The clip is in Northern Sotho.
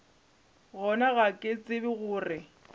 gona ga ke tsebe gore